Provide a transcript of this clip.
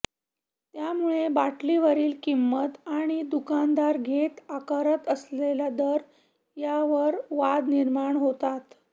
त्यामुळे बाटलीवरील किंमत आणि दुकानदार घेत आकारत असलेला दर यावरून वाद निर्माण होतात